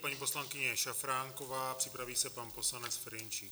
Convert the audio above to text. Paní poslankyně Šafránková, připraví se pan poslanec Ferjenčík.